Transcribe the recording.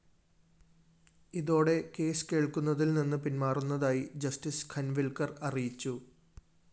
ഇതോടെ കേസ് കേള്‍ക്കുന്നതില്‍ നിന്ന് പിന്മാറുന്നതായി ജസ്റ്റിസ്‌ ഖന്‍വില്‍ക്കര്‍ അറിയിച്ചു